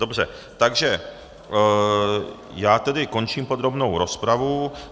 Dobře, takže já tedy končím podrobnou rozpravu.